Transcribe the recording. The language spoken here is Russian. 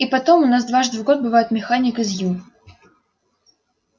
и потом у нас дважды в год бывает механик из ю